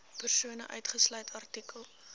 persone uitgesluit artikel